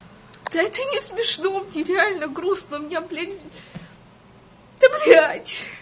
это не смешно мне реально грустно у меня блять да блять